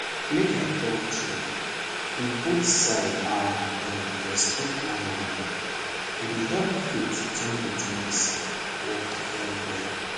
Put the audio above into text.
make i talk true if both side ah dem respect one anoda e dey help faith join with medicine work well well.